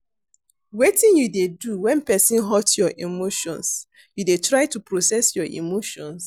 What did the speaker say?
Wetin you dey do when person hurt you emotions, you dey try to process your emotions?